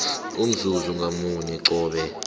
umzuzi ngamunye qobe